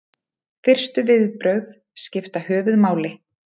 fyrstu viðbrögð skipta höfuðmáli